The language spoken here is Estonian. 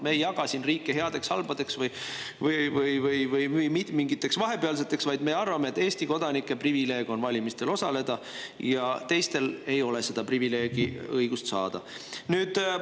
Me ei jaga siin riike headeks, halbadeks ja mingiteks vahepealseteks, vaid me arvame, et Eesti kodanike privileeg on valimistel osaleda ja teistel ei ole õigust seda privileegi saada.